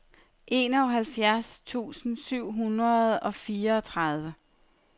enoghalvfjerds tusind syv hundrede og fireogtredive